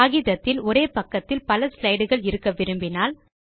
காகிதத்தில் ஒரே பக்கத்தில் பல ஸ்லைடு கள் இருக்க விரும்பினால்